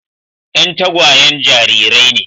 Yan tagwayen jarirai ne.